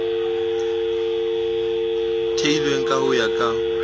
theilweng ka ho ya ka